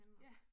Ja